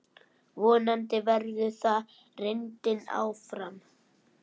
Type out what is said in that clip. Vonandi verður það reyndin áfram.